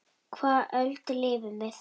Á hvaða öld lifum við?